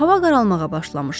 Hava qaralmağa başlamışdı.